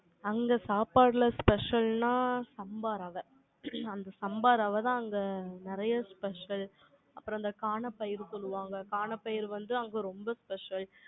அங்க சாப்பாட்டுல special னா சம்பா ரவ. ஹம் அந்த சம்பா ரவை தான் அங்க நிறைய special அப்புறம் அந்த கானப்பயிறு சொல்லுவாங்க. கானப்பயிறு வந்து அங்க ரொம்ப special